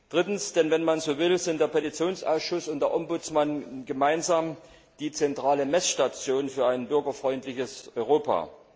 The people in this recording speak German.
Drittens Wenn man so will, sind der Petitionsausschuss und der Ombudsmann gemeinsam die zentrale Messstation für ein bürgerfreundliches Europa.